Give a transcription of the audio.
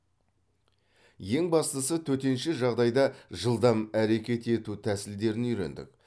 ең бастысы төтенше жағдайда жылдам әрекет ету тәсілдерін үйрендік